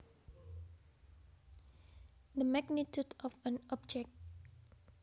The magnitude of an object